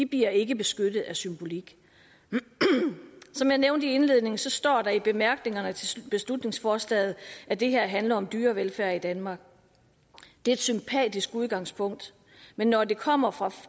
bliver ikke beskyttet af symbolik som jeg nævnte i indledningen står der i bemærkningerne til beslutningsforslaget at det her handler om dyrevelfærd i danmark det er et sympatisk udgangspunkt men når det kommer fra